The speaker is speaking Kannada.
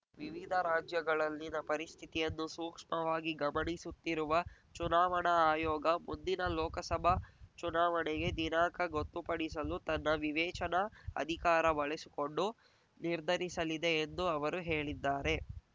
ವಿವಿಧ ರಾಜ್ಯಗಳಲ್ಲಿನ ಪರಿಸ್ಥಿತಿಯನ್ನು ಸೂಕ್ಷ್ಮವಾಗಿ ಗಮನಿಸುತ್ತಿರುವ ಚುನಾವಣಾ ಆಯೋಗ ಮುಂದಿನ ಲೋಕಸಭಾ ಚುನಾವಣೆಗೆ ದಿನಾಂಕ ಗೊತ್ತುಪಡಿಸಲು ತನ್ನ ವಿವೇಚನಾ ಅಧಿಕಾರ ಬಳಸಿಕೊಂಡು ನಿರ್ಧರಿಸಲಿದೆ ಎಂದು ಅವರು ಹೇಳಿದ್ದಾರೆ